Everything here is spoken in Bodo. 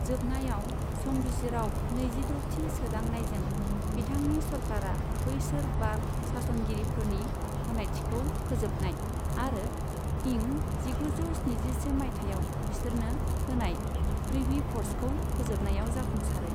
जोबनायाव, संबिजिराव नैजिद'थि सोदांनायजों बिथांनि सरकारा बैसोर बार्ग' सास'नगिरिफोरनि गानायथिखौ फोजोबनाय आरो इं जिगुजौ स्निजिसे माइथायाव बिसोरनो होनाय प्रिभि पर्सखौ फोजोबनायाव जाफुंसारो।